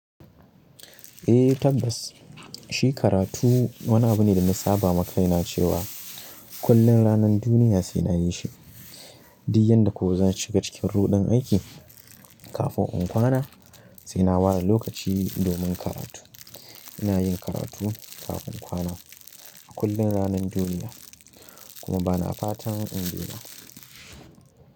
Eh tabbas shi karatu wani abu ne dana sabama kaina cewa kullum ranar duniya saina yishi. Diuk yanda kuwa zan shiga cikin ruɗin aiki kafin in kwana sai na ware lokaci domin karatu. Ina yin karatu kafin kwana a kullum ranar duniya kuma bana fatan in dena.